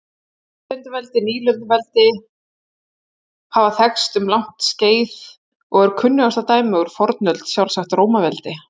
Nýlenduveldi Nýlenduveldi hafa þekkst um langt skeið og er kunnasta dæmið úr fornöld sjálfsagt Rómaveldi.